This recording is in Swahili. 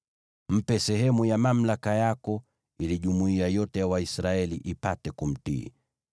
Mpe sehemu ya mamlaka yako ili jumuiya yote ya Waisraeli ipate kumtii.